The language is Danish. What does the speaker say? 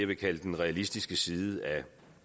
vil kalde den realistiske side af